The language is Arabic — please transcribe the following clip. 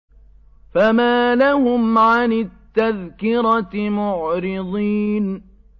فَمَا لَهُمْ عَنِ التَّذْكِرَةِ مُعْرِضِينَ